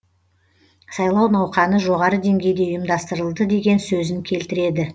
сайлау науқаны жоғары деңгейде ұйымдастырылды деген сөзін келтіреді